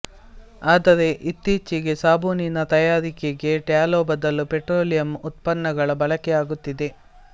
ಆದರೆ ಇತ್ತೀಚಿಗೆ ಸಾಬೂನಿನ ತಯಾರಿಕೆಗೆ ಟ್ಯಾಲೊ ಬದಲು ಪೆಟ್ರೋಲಿಯಮ್ ಉತ್ಪನ್ನಗಳ ಬಳಕೆ ಆಗುತ್ತಿದೆ